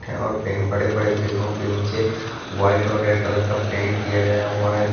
और पे बड़े बड़े पेड़ों के नीचे वाइट और रेड कलर का पेंट किया गया है।